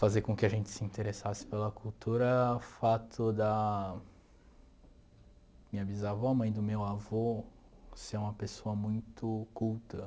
Fazer com que a gente se interessasse pela cultura, o fato da minha bisavó, mãe do meu avô, ser uma pessoa muito culta.